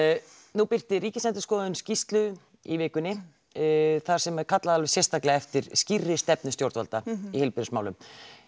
nú birti Ríkisendurskoðun skýrslu í vikunni þar sem er kallað alveg sérstaklega eftir skýrri stefnu stjórnvalda í heilbrigðismálum